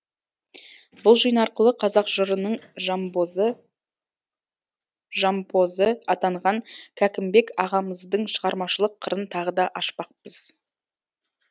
бұл жиын арқылы қазақ жырының жампозы жампозы атанған кәкімбек ағамыздың шығармашылық қырын тағы да ашпақпыз